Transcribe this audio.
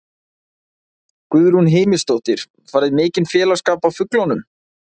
Guðrún Heimisdóttir: Færðu mikinn félagsskap af fuglunum?